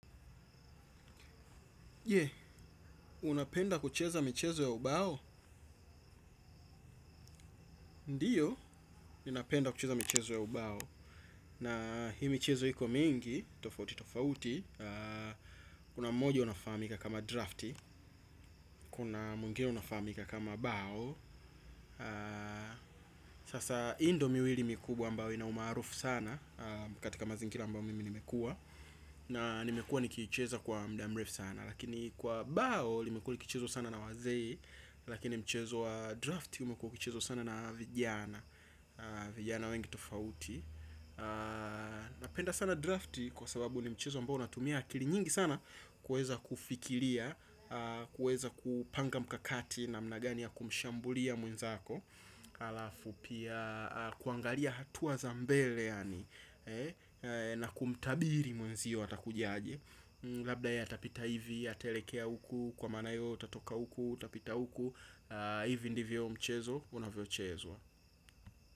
Jee, unapenda kucheza michezo ya ubao. Ndiyo, ninapenda kucheza michezo ya ubao na hii michezo iko mingi, tofauti tofauti. Kuna mojo unafaamika kama drafti. Kuna mwingine unafaamika kama bao. Sasa hii ndo miwili mikubwa ambayo inaumaarufu sana. Katika mazingira ambao mimi nimekua na nimekua nikiicheza kwa muda mrefu sana lakini kwa bao limekuwali kichezwa sana na wazee lakini mchezo wa drafti umekuwa ukichezwa sana na vijana. Vijana wengi tofauti. Napenda sana drafti kwa sababu ni mchezo ambao unatumia akili nyingi sana. Kuweza kufikiria, kuweza kupanga mkakati namna gani ya kumshambulia mwenzako alafu pia kuangalia hatua za mbele yani na kumtabiri mwenzio atakuja aje. Labda yatapita hivi, atelekea huku kwa maana we utatoka huku utapita huku, hivi ndivyo mchezo, unavyochezwa.